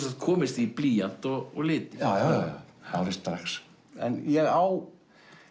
sagt komist í blýant og liti já já alveg strax ég á